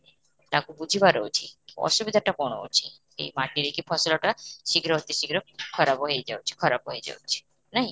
ତାକୁ ବୁଝିବାର ଅଛି କି ଅସୁବିଧାଟା କଣ ଅଛି ଏଇ ମାଟିରେ କି ଫସଲଟା ଶୀଘ୍ର ଅତି ଶୀଘ୍ର ଖରାପ ହେଇଯାଉଛି ଖରାପ ହେଇଯାଉଛି, ନାଇଁ?